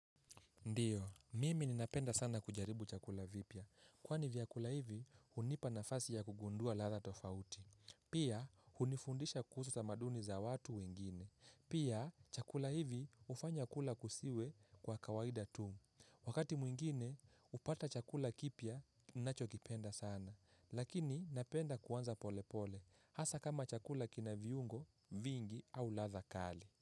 Ndiyo, mimi ninapenda sana kujaribu chakula vipya. Kwani vyakula hivi, hunipa nafasi ya kugundua ladha tofauti. Pia, hunifundisha kuhusu tamaduni za watu wengine. Pia, chakula hivi hufanya kula kusiwe kwa kawaida tu. Wakati mwingine, hupata chakula kipya, nachokipenda sana. Lakini, napenda kuanza pole pole. Hasa kama chakula kina viungo, vingi, au ladha kali.